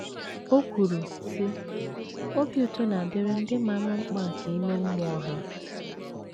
O kwuru, sị: “ Obi ụtọ na - adịrị ndị maara mkpa nke ime mmụọ ha. ”